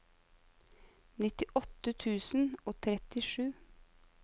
nittiåtte tusen og trettisju